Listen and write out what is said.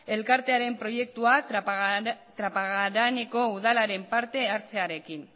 elkartearen proiektuak trapagaraneko udalaren parte hartzearekin